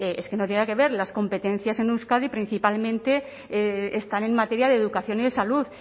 es que no tienen que ver las competencias en euskadi principalmente están en materia de educación y de salud